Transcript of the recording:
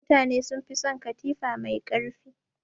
Mutane sun fi son katifa mai ƙarfi.